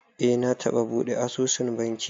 Eh, na taɓa buɗe asusun banki